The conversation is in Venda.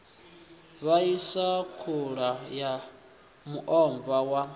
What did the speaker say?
ḽaisa khula ya muomva wa